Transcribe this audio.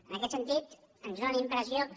en aquest sentit ens fa la impressió que